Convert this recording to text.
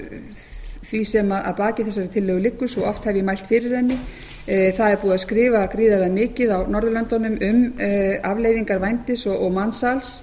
því sem að baki þessari tillögu liggur svo oft hef ég mælt fyrir henni það er búið að skrifa gríðarlega mikið á norðurlöndunum um afleiðingar vændis og mansals